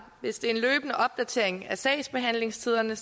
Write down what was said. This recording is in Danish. hvis det er en løbende opdatering af sagsbehandlingstiderne